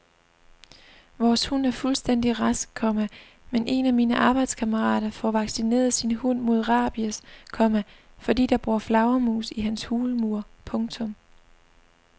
Vores hund er fuldstændig rask, komma men en af mine arbejdskammerater får vaccineret sin hund mod rabies, komma fordi der bor flagermus i hans hulmur. punktum